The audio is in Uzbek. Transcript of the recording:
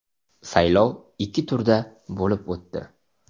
Saylov ikki turda bo‘lib o‘tdi.